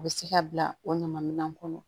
U bɛ se ka bila o ɲaman minɛn kɔnɔ